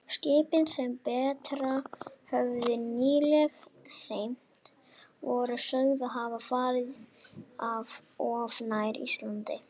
Skipin, sem Bretar höfðu nýlega hremmt, voru sögð hafa farið of nærri Íslandi.